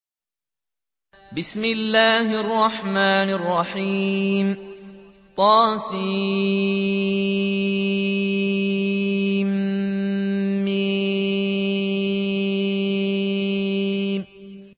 طسم